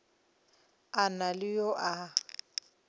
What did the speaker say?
a na le yo a